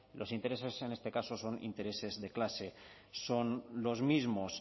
los intereses en este caso son intereses de clase son los mismos